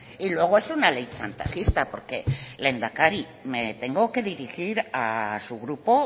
y luego es una ley chantajista porque lehendakari me tengo que dirigir a su grupo